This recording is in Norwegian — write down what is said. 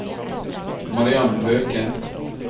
Mariann Løken